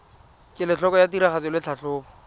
kelotlhoko ya tiragatso le tlhatlhobo